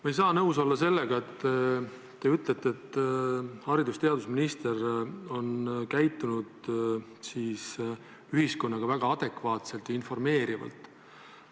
Ma ei saa nõus olla sellega, mis te ütlete, et haridus- ja teadusminister on käitunud ühiskonnaga väga adekvaatselt ja informeerivalt.